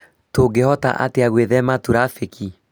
Tũngĩhota atĩa gwĩthema turabĩki ?